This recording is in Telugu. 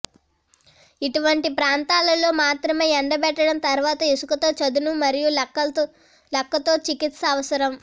ఇటువంటి ప్రాంతాలలో మాత్రమే ఎండబెట్టడం తర్వాత ఇసుకతో చదును మరియు లక్క తో చికిత్స అవసరం